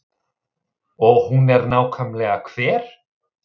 Og hún er nákvæmlega hver?